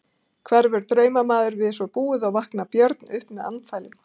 Hverfur draumamaður við svo búið og vaknar Björn upp með andfælum.